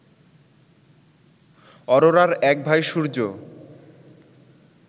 অরোরার এক ভাই সূর্য